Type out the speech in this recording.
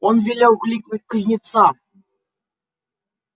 он велел кликнуть кузнеца